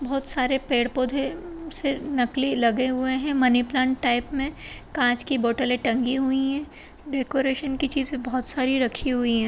बहुत सारे पेड़-पौधे से नकली लगे हुए है मनी प्लांट टाइप में कांच की बॉटले टंगी हुई है डेकोरेशन की चीजे बहुत सारी रखी हुई है।